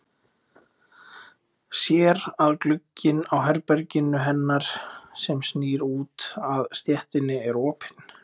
Sér að glugginn á herberginu hennar sem snýr út að stéttinni er opinn.